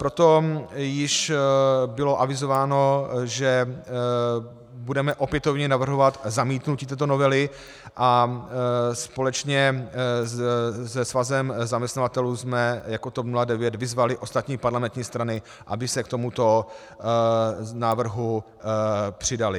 Proto již bylo avizováno, že budeme opětovně navrhovat zamítnutí této novely, a společně se Svazem zaměstnavatelů jsme jako TOP 09 vyzvali ostatní parlamentní strany, aby se k tomuto návrhu přidaly.